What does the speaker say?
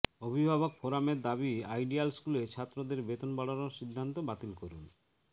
অভিভাবক ফোরামের দাবি আইডিয়াল স্কুলে ছাত্রদের বেতন বাড়ানোর সিদ্ধান্ত বাতিল করুন